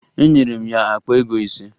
Enyere m ya akpa ego ise